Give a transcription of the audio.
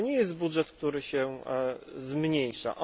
To nie jest budżet, który się zmniejsza.